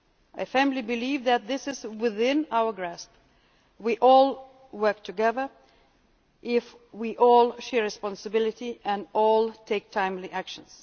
I firmly believe that this is within our grasp if we all work together, if we all share responsibility and all take timely action.